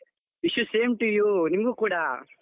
Wish you same to you, ನಿಮಗೂ ಕೂಡ.